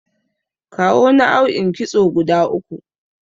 Kawo naau'in kitso guda uku?